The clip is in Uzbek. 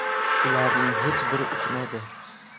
Ularning hech biri uchmaydi.